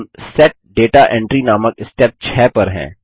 हम set data entry नामक step 6 पर हैं